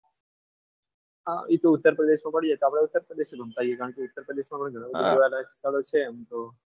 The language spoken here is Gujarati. હા એ તો ઉત્તર પ્રદેશમાં મળીએ તો આપણે ઉત્તર પ્રદેશમાં કારણ કે ઉત્તર પ્રદેશમાં પણ ઘણું બધું જોવાલાયક સ્થળો છે આમ તો.